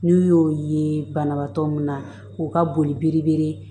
N'u y'o ye banabaatɔ min na k'u ka boli biri biri